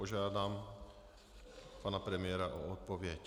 Požádám pana premiéra o odpověď.